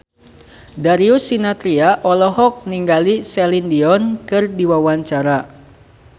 Darius Sinathrya olohok ningali Celine Dion keur diwawancara